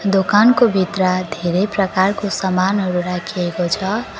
दोकानको भित्र धेरै प्रकारको सामानहरु राखिएको छ।